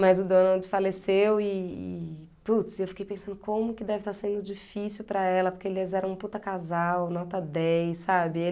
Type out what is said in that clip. Mas o Donald faleceu e e, putz, e eu fiquei pensando como que deve estar sendo difícil para ela, porque eles eram um puta casal, nota dez, sabe?